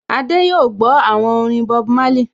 Adé yóò gbọ́ àwọn orin Bob Marley